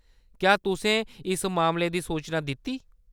क्या तुसें इस मामले दी सूचना दित्ती ?